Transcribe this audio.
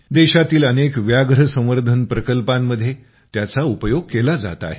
देशातील अनेक व्याघ्र संवर्धन प्रकल्पामध्ये त्याचा उपयोग केला जात आहे